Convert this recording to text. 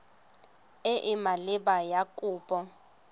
e e maleba ya kopo